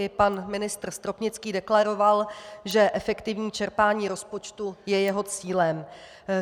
I pan ministr Stropnický deklaroval, že efektivní čerpání rozpočtu je jeho cílem.